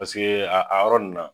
Paseke a a yɔrɔ ninnu na.